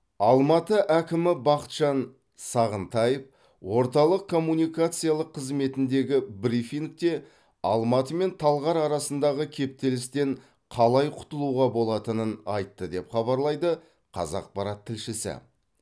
алматы әкімі бақытжан сағынтаев орталық коммуникациялық қызметіндегі брифингте алматы мен талғар арасындағы кептелістен қалай құтылуға болатынын айтты деп хабарлайды қазақпарат тілшісі